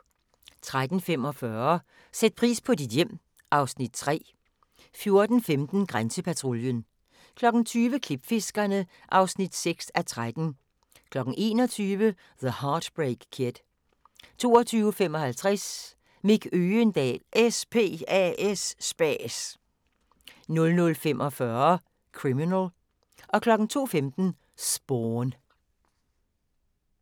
13:45: Sæt pris på dit hjem (Afs. 3) 14:15: Grænsepatruljen 20:00: Klipfiskerne (6:13) 21:00: The Heartbreak Kid 22:55: Mick Øgendahl: SPAS 00:45: Criminal 02:15: Spawn